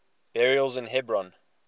burials in hebron